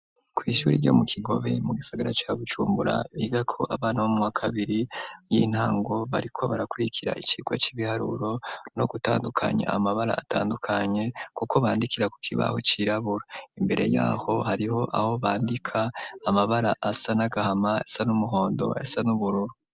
Kw'ishuri ryo mu kigobe mu gisagara cabucumbura biga ko abana b' mwakabiri y'intango bariko barakurikira icirwa c'ibiharuro no gutandukanya amabara atandukanye, kuko bandikira ku kibaho cirabura imbere yaho hariho aho bandika amabara asa n'agahama asa n'umuhondo asa n'ubururu.